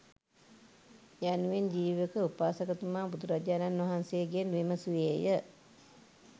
යනුවෙන් ජීවක උපාසකතුමා බුදුරජාණන් වහන්සේගෙන් විමසුවේය.